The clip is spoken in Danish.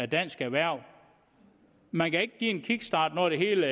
dansk erhverv man kan ikke give det en kickstart når det hele